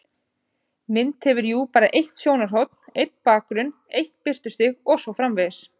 Mynd hefur jú bara eitt sjónarhorn, einn bakgrunn, eitt birtustig og svo framvegis.